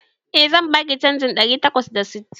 Eh, zan baki canjin ɗari takwas da sittin